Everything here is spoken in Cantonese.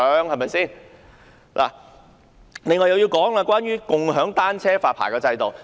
我接着要說的是共享單車的發牌制度。